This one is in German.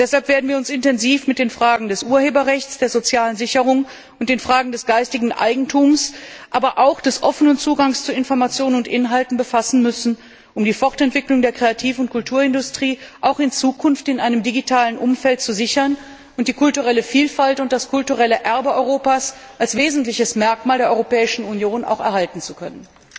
Deshalb werden wir uns intensiv mit den Fragen des Urheberrechts, der sozialen Sicherung und des geistigen Eigentums, aber auch des offenen Zugangs zu Informationen und Inhalten befassen müssen, um die Fortentwicklung der Kreativ und Kulturindustrie auch in Zukunft in einem digitalen Umfeld zu sichern und die kulturelle Vielfalt und das kulturelle Erbe Europas als wesentliches Merkmal der Europäischen Union erhalten zu können.